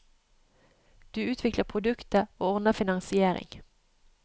Du utvikler produktet, og ordner finansiering.